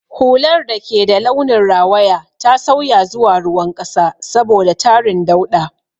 Hular da ke da launin rawaya ta sauya zuwa ruwan ƙasa saboda tarin dauɗa.